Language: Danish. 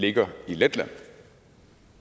ligger i letland